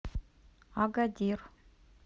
агадир